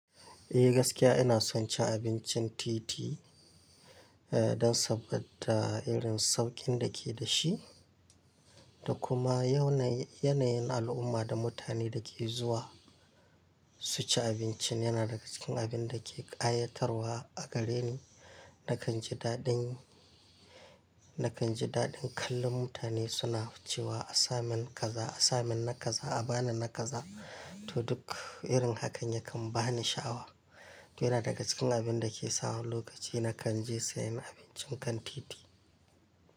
Eh gaskiya ina son cin abincin titi, eh don saboda irin sauƙin da ke da shi da kuma yanayin al'umma da mutane da ke zuwa su ci abincin yana daga cikin abin da ke ƙayatarwa a gare ni. Nakan ji daɗin, nakan ji daɗin kallon mutane suna cewa a sa min kaza, a sa min na kaza, a ba ni na kaza to duk irin hakan yakan ba ni sha'awa. To yana daga cikin abin da ke sa wani lokaci nakan je sayan abincin kan titi.